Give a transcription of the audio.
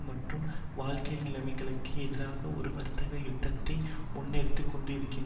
மற்றும் வாழ்க்கை நிலைமைகளுக்கு எதிராக ஒரு வர்க்க யுத்தத்தை முன்னெடுத்துக்கொண்டிருக்கின்றனர்